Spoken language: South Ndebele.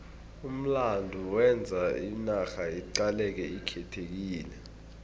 umlando wenza inarha iqaleke ikhethekile